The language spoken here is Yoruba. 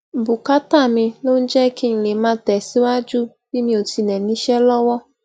bùkátà mi ló ń jé kí n lè máa tesiwaju bi mi ò tile níṣé lówó